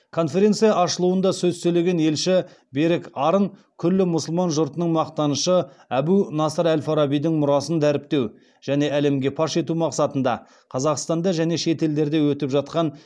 конференция ашылуында сөз сөйлеген елші берік арын күллі мұсылман жұртының мақтанышы әбу насыр әл фарабидің мұрасын дәріптеу және әлемге паш ету мақсатында қазақстанда және шет елдерде өтіп жатқан